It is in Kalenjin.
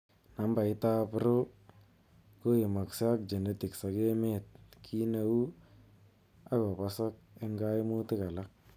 Nambaitab row koimakse ak genetics ak emeet kiineu akoboosok en kaimuutik alak